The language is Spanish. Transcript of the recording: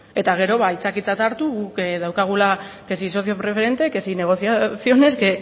eta gero ba aitzakiatzat hartu guk daukagula que si socio preferente que si negociaciones